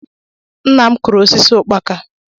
Nna m kuru osisi ukpaka